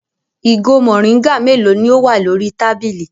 Ìgò mòríngà mélòó ni ó wà lórí tábìlì?